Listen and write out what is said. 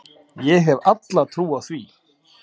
Ég hef alla trú á því.